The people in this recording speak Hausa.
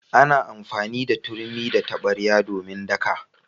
Ana amfani da turmi da tabarya domin daka.